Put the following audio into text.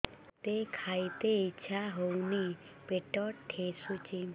ମୋତେ ଖାଇତେ ଇଚ୍ଛା ହଉନି ପେଟ ଠେସୁଛି